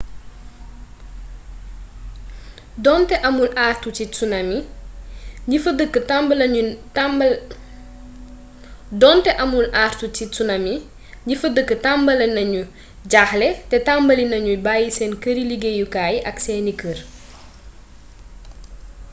donte amul àartu ci tsunami ñi fa dëkk tambali nañu jaaxle te tambali nañu bayyi seen këri-liggéeyukaay ak seeni kër